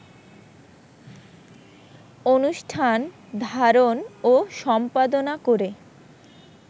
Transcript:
অনুষ্ঠান ধারণ ও সম্পাদনা করে